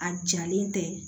A jalen tɛ